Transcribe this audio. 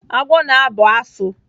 Agwọ na-abụ asụ.